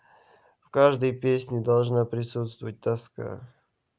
в каждой песне должна присутствовать тоска